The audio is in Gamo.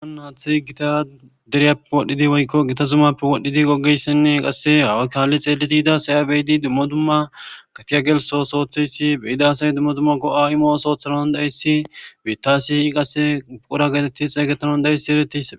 Haathey deriyape wodhine woyko Gita zumape wodhidi kalidi xelida asay a beyidi dumma dumma asay go'i imo oothanays bita asay qase oda getetanays danda'izays betes